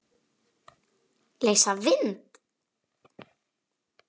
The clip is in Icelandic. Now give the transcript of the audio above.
Leysa vind?